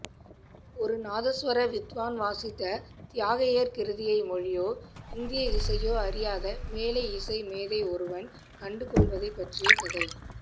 ஒரு நாதஸ்வர வித்வான் வாசித்த தியாகையர் கிருதியை மொழியோ இந்தியஇசையோ அறியாத மேலைஇசைமேதை ஒருவன் கண்டுகொள்வதைப்பற்றிய கதை